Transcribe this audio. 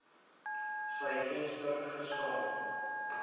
sy venster gestaan